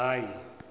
hhayi